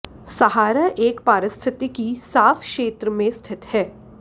सहारा एक पारिस्थितिकी साफ क्षेत्र में स्थित है